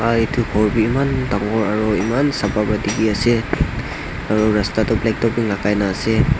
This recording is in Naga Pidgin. aro etu ghor eman dangor aro eman sapa pra dikhi ase aro rasta toh black topping lagai na ase.